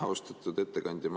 Austatud ettekandja!